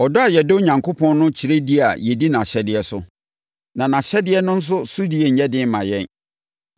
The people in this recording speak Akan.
Ɔdɔ a yɛdɔ Onyankopɔn no kyerɛ di a yɛdi nʼahyɛdeɛ so. Na nʼahyɛdeɛ no nso sodie nyɛ den mma yɛn,